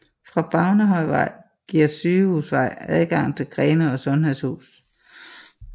Fra Bavnehøjvej giver Sygehusvej adgang til Grenaa Sundhedshus